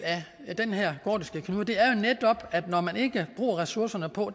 af den her gordiske knude det er jo netop at man ikke bruger ressourcerne på